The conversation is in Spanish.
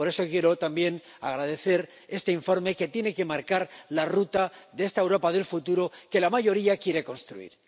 Por eso quiero también agradecer este informe, que tiene que marcar la ruta de esta Europa del futuro que la mayoría quiere construir.